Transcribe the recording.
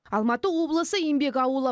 алматы облысы еңбек ауылы